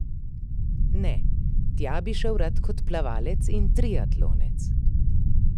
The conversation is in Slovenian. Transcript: Ne, tja bi šel rad kot plavalec in triatlonec.